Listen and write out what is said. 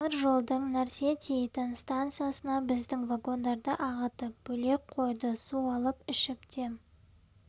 темір жолдың нәрсе тиейтін станциясына біздің вагондарды ағытып бөлек қойды су алып ішіп дем